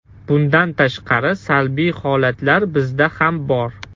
Bundan tashqari, salbiy holatlar bizda ham bor.